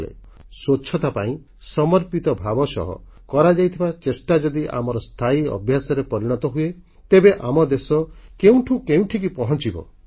ସ୍ୱଚ୍ଛତା ପାଇଁ ସମର୍ପିତ ଭାବ ସହ କରାଯାଇଥିବା ଚେଷ୍ଟା ଯଦି ଆମର ସ୍ଥାୟୀ ଅଭ୍ୟାସରେ ପରିଣତ ହୁଏ ତେବେ ଆମ ଦେଶ କେଉଁଠୁ କେଉଁଠିକି ପହଞ୍ଚିଯିବ